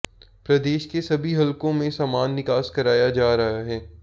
प्रदेश के सभी हलकों में समान विकास कराया जा रहा है